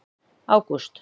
ágúst